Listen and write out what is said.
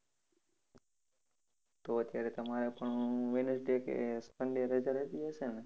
તો અત્યારે તમારે પણ Wednesday કે Sunday રજા રહેતી હશેને!